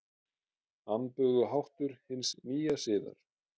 Amböguháttur hins nýja siðar.